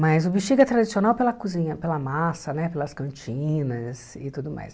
Mas o Bexiga é tradicional pela cozinha, pela massa né, pelas cantinas e tudo mais.